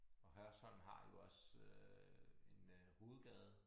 Og Hørsholm har jo også øh en øh hovedgade